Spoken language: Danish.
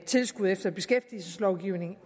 tilskud efter beskæftigelseslovgivningen